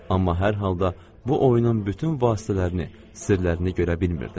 Amma hər halda bu oyunun bütün vasitələrini, sirlərini görə bilmirdim.